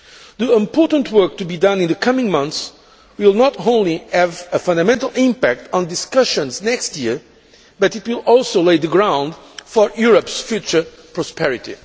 The important work to be done in the coming months will not only have a fundamental impact on the discussions next year, but it will also lay the ground for Europe's future prosperity.